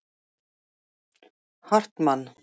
Hartmann